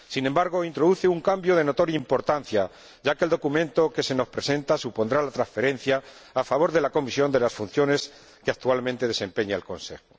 Sin embargo, introduce un cambio de notoria importancia, ya que el documento que se nos presenta supondrá la transferencia a favor de la Comisión de las funciones que actualmente desempeña el Consejo.